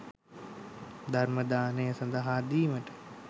ධර්ම දානය සඳහා දීමට